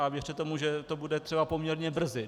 A věřte tomu, že to bude třeba poměrně brzy.